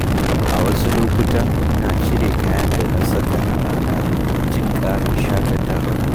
A wasu lokuta, ina cire kayan da na saka a rana domin jin ƙarin shaƙatawa.